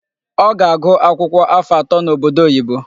Ọ ga-agụ akwụkwọ afọ atọ n'obodo oyibo.